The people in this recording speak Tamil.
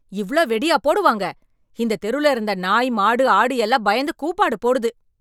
இவ்ளோ வெடியா போடுவாங்க, இந்தத் தெருல இருந்த நாய் மாடு ஆடு எல்லாம் பயந்து கூப்பாடு போடுது.